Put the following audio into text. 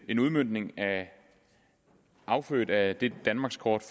en udmøntning affødt af det danmarkskort